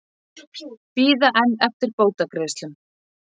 Bíða enn eftir bótagreiðslum